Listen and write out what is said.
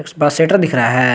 उस बा सटर दिख रहा है।